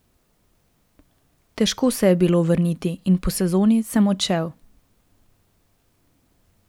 Težko se je bilo vrniti in po sezoni sem odšel.